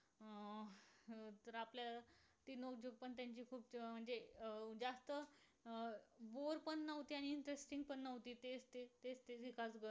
जवळच असलेला ऊसोटा किल्ला कोयना जलाशय व तेथील leg typing चा प्रयोग नेहरू स्मारक उद्यान परिसर इत्यादी निसर्गरम्य परिसर आहे.